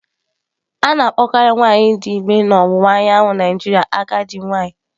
A na-akpọkarị nwanyị dị ime na ọwụwa anyanwụ Naijiria agadi nwanyị.